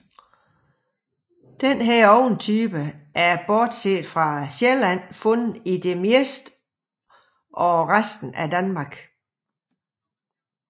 Denne ovntype er bortset fra Sjælland fundet i det meste af resten af Danmark